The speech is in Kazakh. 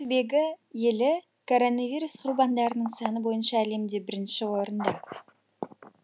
түбегі елі коронавирус құрбандарының саны бойынша әлемде бірінші орында